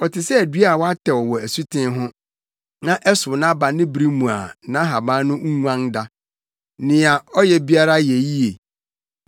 Ɔte sɛ dua a wɔatɛw wɔ asuten ho, na ɛsow nʼaba ne bere mu a nʼahaban no nguan da. Nea ɔyɛ biara yɛ yiye.